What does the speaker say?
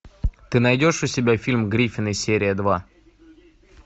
ты найдешь у себя фильм гриффины серия два